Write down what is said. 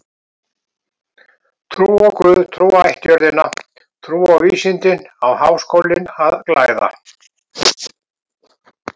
Trú á guð, trú á ættjörðina, trú á vísindin á Háskólinn að glæða.